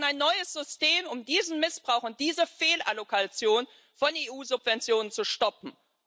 Wir brauchen ein neues System, um diesen Missbrauch und diese Fehlallokation von EU Subventionen zu stoppen.